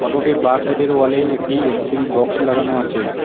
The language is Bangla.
রোড -এর বাঁ সাইড -এর ওয়াল -এ একটি এম_সি_ভি বক্স লাগানো আছে।